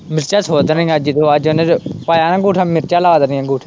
ਮਿਰਚਾਂ ਸੁੱਟ ਦੇਣੀਆਂ ਅੱਜ ਜਦੋਂ ਅੱਜ ਉਹਨੇ ਪਾਇਆ ਨਾ ਅੰਗੂਠਾ ਮਿਰਚਾਂ ਲਾ ਦੇਣੀਆਂ ਅੰਗੂਠੇ ਤੇ।